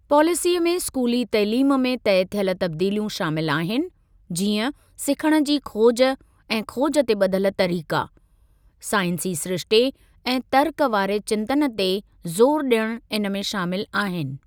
पॉलिसीअ में स्कूली तइलीम में तइ थियल तब्दीलियूं शामिल आहिनि, जीअं सिखण जी खोज ऐं खोज ते ॿधल तरीक़ा, साइंसी सिरिश्ते ऐं तर्क वारे चिंतन ते ज़ोरु ॾियणु इन में शामिल आहिनि।